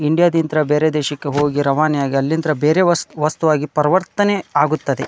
India ಡಿಂತ್ರ ಬೇರೆ ದೇಶಕ್ಕೆ ಹೋಗಿ ರವಾನೆ ಆಗಿ ಅಲ್ಲಿಂತ್ರ ಬೇರೆ ವಸ್ ವಸ್ತು ಆಗಿ ಪ್ರವರ್ತನೆ ಆಗುತ್ತದೆ.